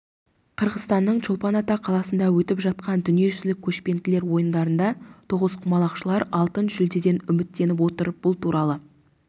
қырғызстанның чолпан ата қаласында өтіп жатқан дүниежүзілік көшпенділер ойындарында тоғызқұмалақшылар алтын жүлдеден үміттеніп отыр бұл туралы